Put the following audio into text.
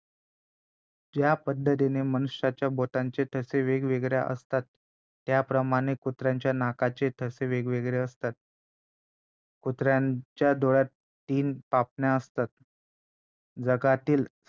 ज्या पद्धतीने मनुष्याच्या बोटांचे ठसे वेगवेगळे असतातत्याप्रमाणेच कुत्र्यांच्या नाकाचे ठसे वेगवेगळे असतात कुत्र्यांच्या डोळ्यांत तीन पापण्या असतात जगातील